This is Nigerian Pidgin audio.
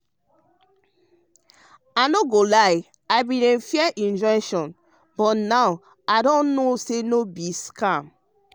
i no go lie i bin dey fear injection but now i know say no bi bi scam.